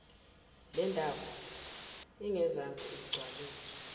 lendawo engezansi igcwaliswe